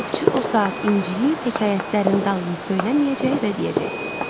Ovçu o saat inciyib, hekayətlərin dalını söyləməyəcək və deyəcək: